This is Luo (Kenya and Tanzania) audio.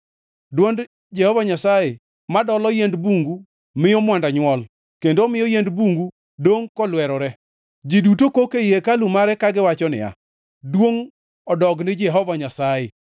Dwond Jehova Nyasaye ma dolo yiend bungu miyo mwanda nywol kendo omiyo yiend bungu dongʼ kolwerore. Ji duto kok ei hekalu mare kagiwacho niya, “Duongʼ odog ni Jehova Nyasaye!”